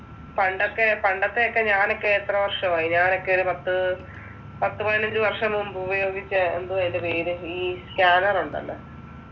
പണ്ടത്തെ പണ്ടത്തെ ഒക്കെ ഞാനൊക്കെ എത്ര വർഷമായി ഞാനൊക്കെ ഒരു പത്ത്, പത്ത് പതിനഞ്ച് വർഷം മുൻപ് ഉപയോഗിച്ച, എന്തുവ അതിൻ്റെ പേര്, ഈ സ്‌ക്യാനർ ഉണ്ടല്ലോ.